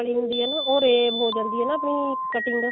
ਹੁੰਦੀ ਆ ਨਾ ਉਹ rave ਹੋ ਜਾਂਦੀ ਆ ਨਾ ਫੇਰ cutting